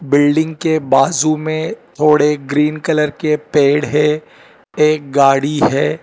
Building के बाजू में थोड़े ग्रीन कलर के पेड़ है एक गाड़ी है।